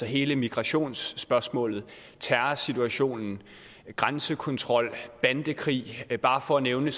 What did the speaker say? hele migrationsspørgsmålet terrorsituationen grænsekontrol bandekrig bare for at nævne